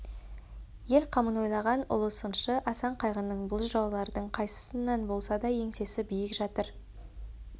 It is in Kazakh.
ел қамын ойлаған ұлы сыншы асан қайғының бұл жыраулардың қайсысынан болса да еңсесі биік жатыр